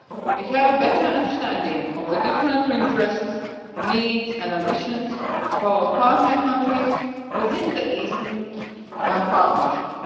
We have a better understanding of the different interests, needs and ambitions of our partner countries within the Eastern Partnership.